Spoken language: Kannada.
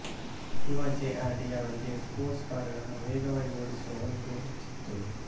ಯುವ ಜೆ ಆರ್ ಡಿ ಯವರಿಗೆ ಸ್ಪೋರ್ಟ್ಸ್ ಕಾರು ಗಳನ್ನು ವೇಗವಾಗಿ ಓಡಿಸುವ ಒಂದು ಹುಚ್ಚಿತ್ತು